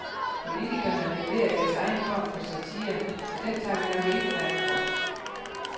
Politikerne leverer deres egen form for satire, så den tager vi nok ikke fat på.